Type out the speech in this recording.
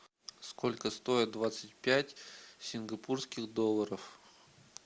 сколько стоит двадцать пять сингапурских долларов